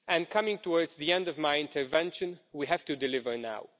Coming to the end of my intervention, we have to deliver now.